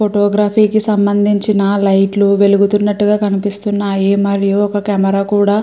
photo graphy కి సంబందించిన లైట్లు వెలుగుతున్నటుగా కనిపిస్తున్నాయి మరియు ఒక కెమెరా కూడా --